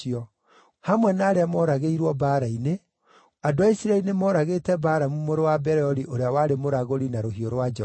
Hamwe na arĩa mooragĩirwo mbaara-inĩ, andũ a Isiraeli nĩmooragĩte Balamu mũrũ wa Beori ũrĩa warĩ mũragũri na rũhiũ rwa njora.